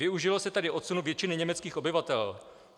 Využilo se tady odsunu většiny německých obyvatel.